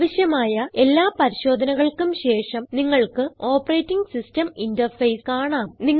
ആവശ്യമായ എല്ലാ പരിശോധനകൾക്കും ശേഷം നിങ്ങൾക്ക് ഓപ്പറേറ്റിംഗ് സിസ്റ്റം ഇന്റർഫേസ് കാണാം